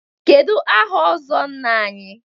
Kedu aha ọzọ Nna anyị?